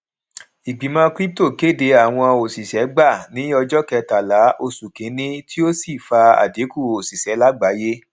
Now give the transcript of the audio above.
ìgbìmọ crypto kéde àwọn òṣìṣẹ gbà ní ọjọ kẹtàlá oṣù kínní ti ó sì fa àdínkù oṣiṣẹ lágbàyé